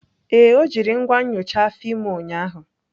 Ee, o jiri ngwa nyocha afọ ime ụnyaahụ.